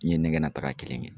N ye ɲɛgɛnna taaga kelen kɛ.